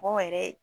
Mɔgɔ yɛrɛ